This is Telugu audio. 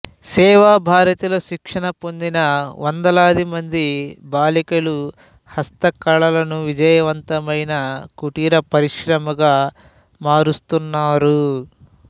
సేవా భారతిలో శిక్షణ పొందిన వందలాది మంది బాలికలు హస్తకళలను విజయవంతమైన కుటీర పరిశ్రమగా మారుస్తున్నారు